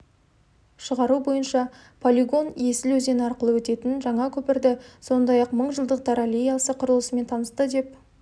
шығару бойынша полигон есіл өзені арқылы өтетін жаңа көпірді сондай-ақ мыңжылдықтар аллеясы құрылысымен танысты деп